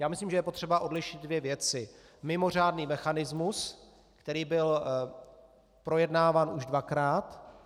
Já myslím, že je potřeba odlišit dvě věci: mimořádný mechanismus, který byl projednáván už dvakrát.